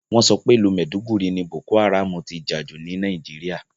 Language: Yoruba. Wọ́n sọ pé ìlú màìdúgùri ni Boko Haram ti jà jù ní Nàìjíríà